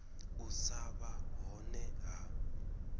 u sa vha hone ha